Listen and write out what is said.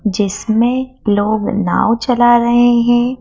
जिसमे लोग नाव चला रहे हैं।